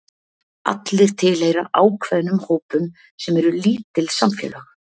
allir tilheyra ákveðnum hópum sem eru lítil samfélög